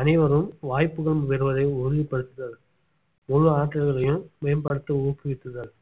அனைவரும் வாய்ப்புகள் பெறுவதை உறுதிப்படுத்துதல் முழு ஆற்றல்களையும் மேம்படுத்த ஊக்குவிக்குத்துதல்